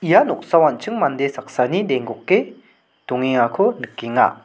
ia noksao an·ching mande saksani denggoke dongengako nikenga.